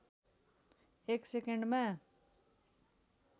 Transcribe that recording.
एक सेकन्डमा